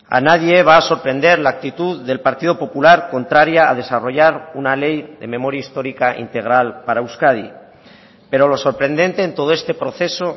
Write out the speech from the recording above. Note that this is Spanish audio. a nadie va a sorprender la actitud del partido popular contraria a desarrollar una ley de memoria histórica integral para euskadi pero lo sorprendente en todo este proceso